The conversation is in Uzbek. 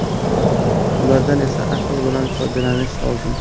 Ulardan esa aql bilan foydalanish lozim.